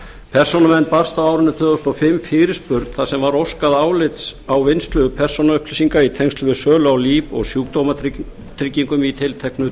persónuvernd barst á árinu tvö þúsund og fimm fyrirspurn þar sem var óskað álits á vinnslu persónuupplýsinga í tengslum við sölu á líf og sjúkdómatryggingum í tilteknu